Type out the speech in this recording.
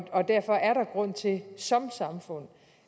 derfor er der grund til som samfund